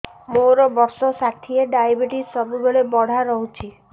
ମୋର ବର୍ଷ ଷାଠିଏ ଡାଏବେଟିସ ସବୁବେଳ ବଢ଼ା ରହୁଛି